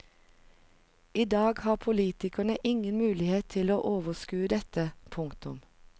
I dag har politikerne ingen mulighet til å overskue dette. punktum